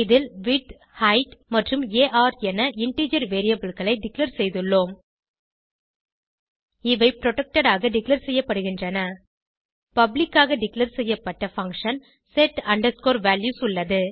இதில் widthஹெய்ட் மற்றும் ஆர் என இன்டிஜர் variableகளை டிக்ளேர் செய்துள்ளோம் இவை புரொடெக்டட் ஆக டிக்ளேர் செய்யப்படுகின்றன பப்ளிக் ஆக டிக்ளேர் செய்யப்பட்ட பங்ஷன் set values உள்ளது